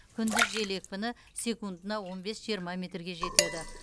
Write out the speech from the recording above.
күндіз жел екпіні секундына он бес жиырма метрге жетеді